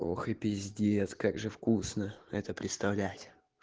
ох и пиздец как же вкусно это представлять